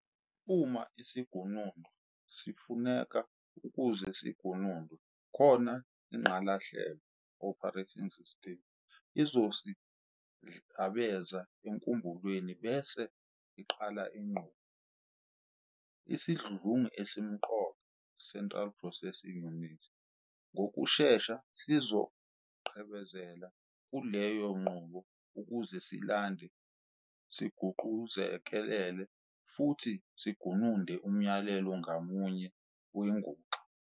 Uma isigunundwa sifuneka ukuze sigunundwe, khona ingqalahlelo "operating system" izosigidlabeza enkumbulweni bese iqala inqubo. Isidludlungi esimqoka "central processing unit" ngokushesha sizoqhebezela kuleyo nqubo ukuze silande, siguquzekelele, futhi sigununde umyalelo ngamunye wenguxa.